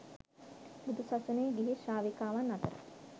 බුදු සසුනේ ගිහි ශ්‍රාවිකාවන් අතර